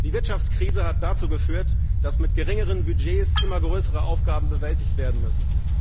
Die Wirtschaftskrise hat dazu geführt, dass mit geringeren Budgets immer größere Aufgaben bewältigt werden müssen.